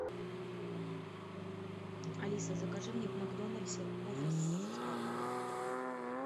алиса закажи мне в макдональдсе кофе с сахаром